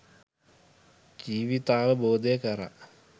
ජීවිතාවබෝධය කරා